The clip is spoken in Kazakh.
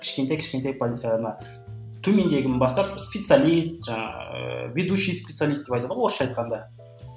кішкентай кішкентай позиция ана төмендегіні бастап специалист жаңағы ыыы ведущий специалист деп айтады ғой орысша айтқанда